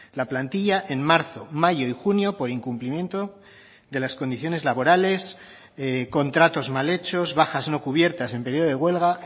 la plantilla en marzo mayo y junio por incumplimiento de las condiciones laborales contratos mal hechos bajas no cubiertas en periodo de huelga